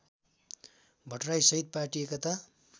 भट्टराईसहित party Ekta